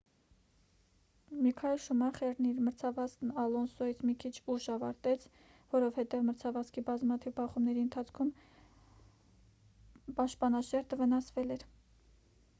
միքայել շումախերն իր մրցավազքն ալոնսոյից մի քիչ ուշ ավարտեց որովհետև մրցավազքի բազմաթիվ բախումների ընթացքում պաշտպանաշերտը վնասվել էր